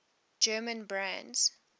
german brands